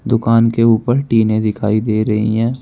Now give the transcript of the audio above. दुकान के ऊपर टीने दिखाई दे रही हैं।